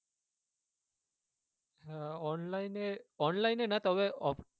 হ্যাঁ online এ online এ না তবে off